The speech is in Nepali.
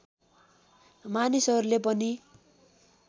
मानिसहरूले पनि